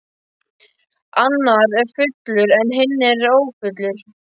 Annar er fullur en hinn ófullur.